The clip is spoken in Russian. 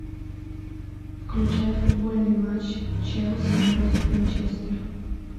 включай футбольный матч челси против манчестер